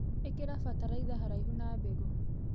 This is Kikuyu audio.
Ĩkĩra bataraitha haraihu na mbegũ.